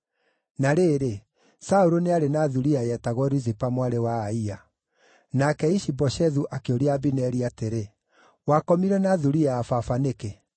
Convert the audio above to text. Na rĩrĩ, Saũlũ nĩ arĩ na thuriya yetagwo Rizipa mwarĩ wa Aia. Nake Ishi-Boshethu akĩũria Abineri atĩrĩ, “Wakomire na thuriya ya baba nĩkĩ?”